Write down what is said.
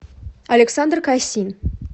александр кайсин